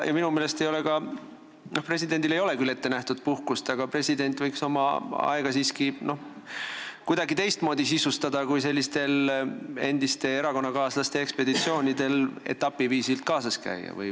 Ja noh, presidendile ei ole küll puhkust ette nähtud, aga president võiks oma aega siiski kuidagi teistmoodi sisustada kui sellistel endiste erakonnakaaslaste ekspeditsioonidel kaasas käia.